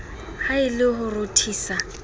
ha e le ho rothisa